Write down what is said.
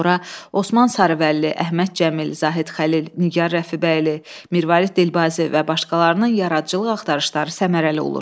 az sonra Osman Sarıvəlli, Əhməd Cəmil, Zahid Xəlil, Nigar Rəfibəyli, Mirvarid Dilbazi və başqalarının yaradıcılıq axtarışları səmərəli olur.